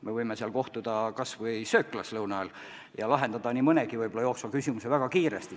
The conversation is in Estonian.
Me võime kohtuda kas või sööklas lõuna ajal ja lahendada nii mõnegi jooksva küsimuse väga kiiresti.